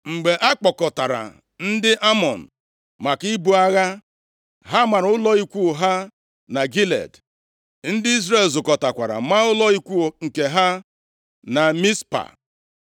Mgbe a kpọkọtara ndị Amọn maka ibu agha, ha mara ụlọ ikwu ha na Gilead, ndị Izrel zukọtakwara maa ụlọ ikwu nke ha na Mizpa.